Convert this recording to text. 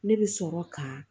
Ne bɛ sɔrɔ ka